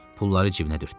Pulları cibinə dürtdü.